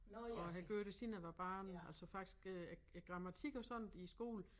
Og har gjort det siden jeg var barn altså faktisk øh æ æ grammatik og sådan i æ skole